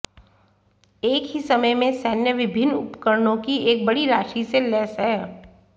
एक ही समय में सैन्य विभिन्न उपकरणों की एक बड़ी राशि से लैस है